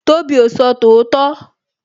Tobi o sọ tòótọ́